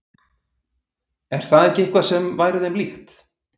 Er það ekki eitthvað sem væri þeim líkt?